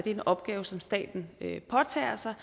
en opgave som staten påtager sig